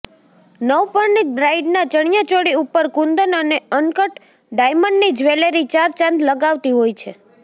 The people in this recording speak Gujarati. નવપરણીત બ્રાઇડના ચણિયાચોળી ઉપર કુંદન અને અનકટ ડાયમંડની જ્વેલરી ચાર ચાંદ લગાવતી હોય છે